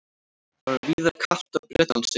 Það var víðar kalt á Bretlandseyjum